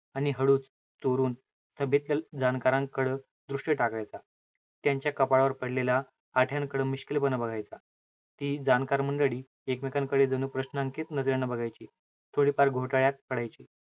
आणि हळूच, चोरून जाणकारांकडं दृष्टी टाकायचा. त्यांच्या कपाळावर पडलेला, आठ्यांकडं मिश्किलपणे बघायचा. ती जाणकार मंडळी एकमेकांकडे जणू प्रश्नांकित नजरेने बघायची. थोडीफार घोटाळ्यात पडायची.